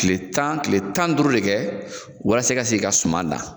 Ktile tan kile tan ni duuru de kɛ walasa, i ka se k'i ka suman dan.